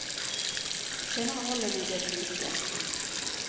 Senere holder vi det ved like.